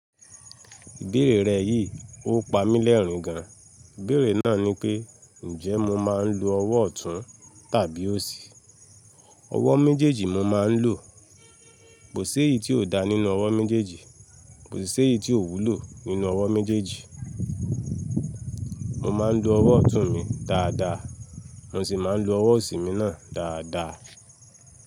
Ìbéèrè rẹ yìí ó pa mí lẹ́rin gan. Ìbéèrè náà ni pé, njẹ́ mo máa ń lo ọwọ́ ọ̀tún tàbí òsì? Ọwọ́ méjèèjì mo máa ń lò. Kò sí èyí tí ò dá nínú ọwọ́ méjèèjì, kò sì sé èyí tí ò wúlò nínú ọwọ́ méjèèjì. Mo máa ń lo ọwọ́ ọ̀tún mi dáadáa, mo sì máa ń lo ọwọ́ òsì mi náà dáadáa.